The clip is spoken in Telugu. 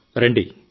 కేవలం ఆయనే కాదు